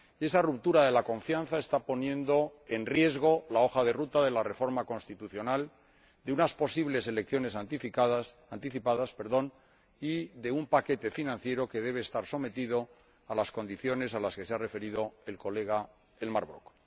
Y esa ruptura de la confianza está poniendo en riesgo la hoja de ruta de la reforma constitucional, de unas posibles elecciones anticipadas y de un paquete financiero que debe estar sometido a las condiciones a las que se ha referido el señor Brok.